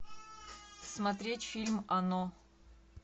смотреть фильм оно